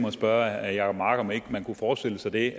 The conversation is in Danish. at spørge herre jacob mark om man ikke kunne forestille sig det